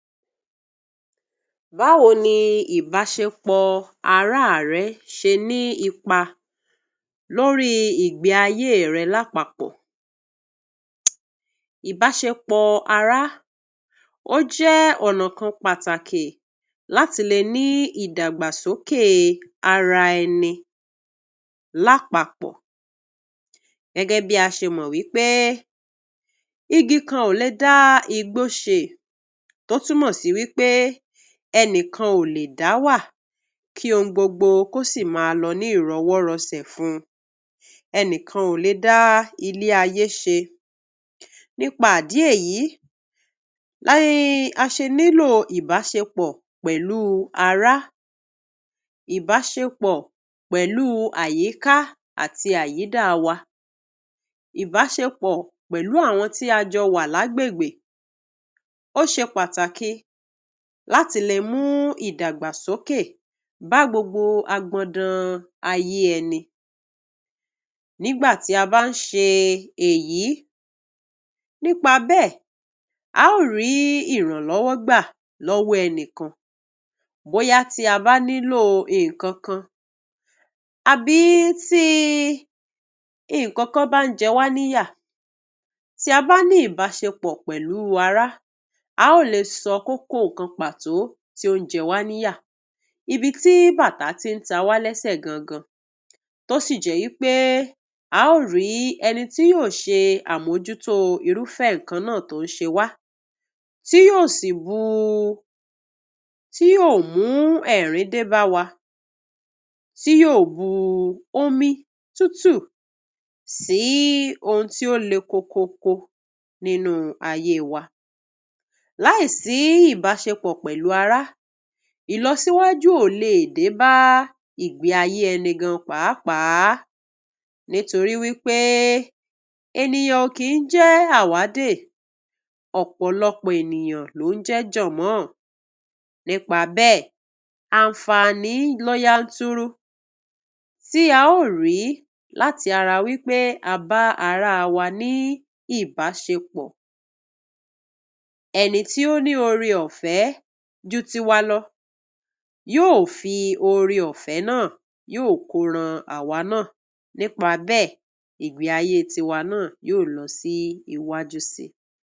Báwo ni ìbáṣepọ̀ ará rẹ ṣe ní ipa lórí ìgbéàyé rẹ lápapọ̀? Ìbáṣepọ̀ ará ó jẹ́ ọ̀nà kan pàtàkì láti lè ní ìdàgbàsókè ara ẹnì lápapọ̀. Gẹ́gẹ́ bí a ṣe mọ̀ wípé, igi kan ò lè dá igbó ṣé, tó túmọ̀ sí i wípé ẹnìkan ò lè dá wà kí ó ní gbogbo, kò sì máa lo ní ìrànwọ́rọ̀sẹ̀ fún un. Ẹnìkan ò lè dá ilé ayé ṣe. Nípa àdí èyí, làá ṣe nílò ìbáṣepọ̀ pẹ̀lú ara, ìbáṣepọ̀ pẹ̀lú àyíká àti àyídá wa. Ìbáṣepọ̀ pẹ̀lú àwọn tí a jọ wà lágbègbè ó ṣe pàtàkì láti lè mú ìdàgbàsókè bá gbogbo àgbọ̀ndàn ayé ẹnì. Nígbà tí a bá ń ṣe èyí, nípa bẹ́ẹ̀, a ó rí ìrànlọ́wọ́ gbà lọ́wọ́ ẹnìkan. Bóyá ti a bá nílò nkan kan, àbí ti nkan kan bá ń jẹ wá níyà. Tí a bá ní ìbáṣepọ̀ pẹ̀lú ara, a ó lè sọ kókó nkan pàtó tí ó ń jẹ wá níyà, ibi tí bàtà tí ń ta wá lẹsẹ̀ gangan, tó sì jẹ́ yìí pé, a ó rí ẹni tí yóò ṣe àmójútó irúfé nǹkan náà tó ń ṣe wá, tí yóò sì bú-- tí yóò mú ẹ̀rín dé bá wa, tí yóò bú omi túútùú sí ohun tí ó lé kọ̀kọ́kọ́ nínú ayé wa. Láìsí ìbáṣepọ̀ pẹ̀lú ara, ìlọ síwájú ò lè dé bá ìgbéàyé ẹnìkan pàápàá, nítorí wípé ènìyàn ò kì í jẹ́ àwádè. Ọ̀pọ̀lọpọ̀ ènìyàn lóùn jẹ́ jọ̀mọ́. Nípa àbẹ́, a ń fàa ní lọ yàntùrú, tí a ó rí látì ara wípé á bá ará wa ní ìbáṣepọ̀. Ẹni tí ó ní orí ọ̀fẹ́ jú ti wá lọ, yóò fi orí ọ̀fẹ́ náà yóò kọ́rán àwa náà. Nípa àbẹ́, ìgbéàyé ti wá náà yóò lọ sí iwájú sí.